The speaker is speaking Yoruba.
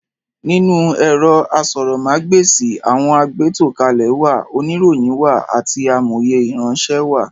Nínú ẹ̀rọ asọ̀rọ̀mágb'èsì, àwọn agbétòkalẹ̀ wà, oníròyìn wà àti amòye ìránṣẹ́ wá.